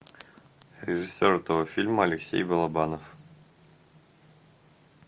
режиссер этого фильма алексей балабанов